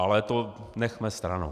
Ale to nechme stranou.